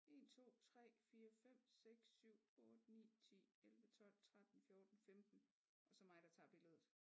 1 2 3 4 5 6 7 8 9 10 11 12 13 14 15 og så mig der tager billedet